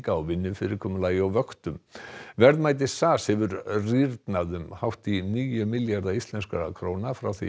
á vinnufyrirkomulagi og vöktum verðmæti SAS hefur rýrnað um hátt í níu milljarða íslenskra króna frá því